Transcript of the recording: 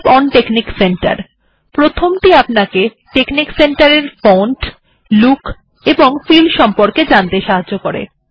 help on technique centre প্রথমটি আপনাকে technique centre এর ফন্ট লুক এন্ড ফিল এর বিষয়ে জানতে সাহায্য করে